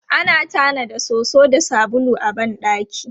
Ana tanada soso da sabulu a ban ɗaki.